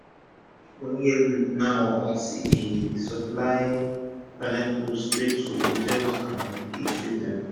my guy dey make moni everi week now as e dey e dey go supply pineapple straight to hotels and eatery dem